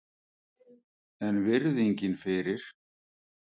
En virðingin fyrir